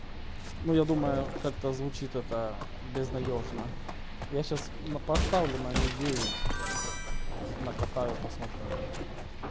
ну я думаю как-то звучит это безнадёжно я сейчас поставлю на ми девять накатаю посмотрю